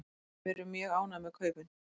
Við erum mjög ánægð með kaupin.